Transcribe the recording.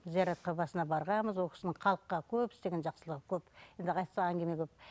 зияратқа басына барғанбыз ол кісінің халыққа көп істеген жақсылығы көп енді айтсақ әңгіме көп